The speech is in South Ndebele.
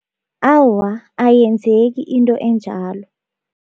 Awa, ayenzeki into enjalo.